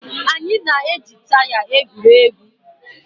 Anyị na-eji taya egwuri egwu